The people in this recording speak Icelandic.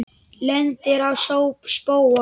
Lendir á spóa.